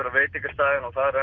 á veitingastaðinn og þar